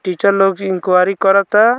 Teacher लोग से inquiry करता।